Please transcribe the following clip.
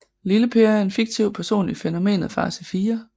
Lille Per er en fiktiv person i fænomenet Far til fire